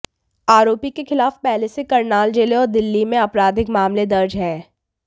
आरोपी के खिलाफ पहले से करनाल जिले और दिल्ली में आपराधिक मामले दर्ज हैं